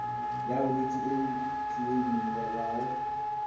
ya bolwetse e e kleimelwago